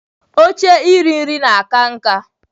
Oche iri nri na-aka nká.